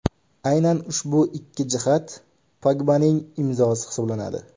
Aynan ushbu ikki jihat Pogbaning imzosi hisoblanadi.